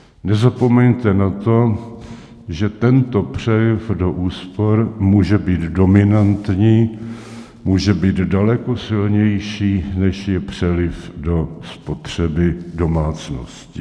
Nezapomeňte na to, že tento přeliv do úspor může být dominantní, může být daleko silnější, než je přeliv do spotřeby domácností.